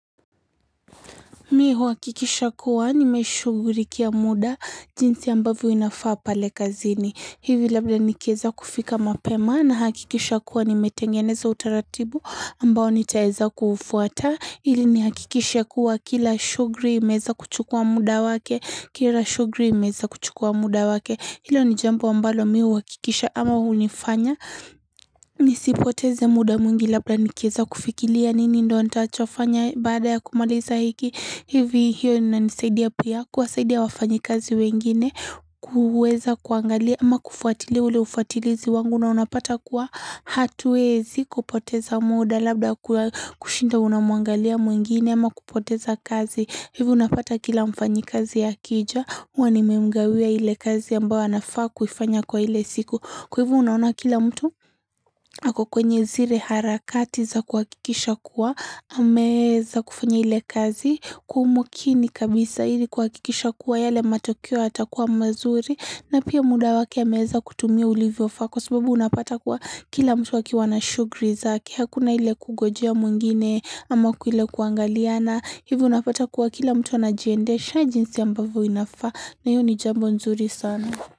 Mii uhakikisha kuwa nimeshugulikia muda jinsi ambavyo inafaa pale kazini. Hivi labda nikeza kufika mapema na hakikisha kuwa nimetengeneza utaratibu ambao nitaeza kufuata. Hili ni hakikishe kuwa kila shughuli imeza kuchukua muda wake, kila shughuli imeweza kuchukua muda wake. Hilo ni jambo ambalo mii uhakikisha ama unifanya. Nisipoteze muda mwingi labda nikeweza kufikiria nini ndo antachofanya baada ya kumaliza hiki. Hivi hiyo ina nisaidia pia kuwasaidia wafanyi kazi wengine kuweza kuangalia ama kufuatilia ule ufatilizi wangu na unapata kuwa hatuwezi kupoteza muda labda kushinda unamuangalia mwingine ama kupoteza kazi. Hivi unapata kila mfanyi kazi akija, wanimemgawia ile kazi ambao anafaa kufanya kwa ile siku. Kwa hivo unaona kila mtu hako kwenye zile harakati za kuhakisha kuwa, ameza kufanya ile kazi, kwa umakini kabisa ili kuhakisha kuwa yale matokeo yata kuwa mazuri, na pia muda wake ameweza kutumia ulivyo faa Kwa sababu unapata kuwa kila mtu akiwana shughuli zake. Hakuna ile kungojea mwingine ama kwa ileb kuangaliana. Hivi unapata kuwa kila mtu wana jiendesha jinsi ambavyo inafaa. Na hiyo ndo jambo nzuri sana.